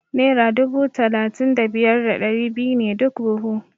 Naira dubu talatin da biyar da ɗari biyu ne duk buhu.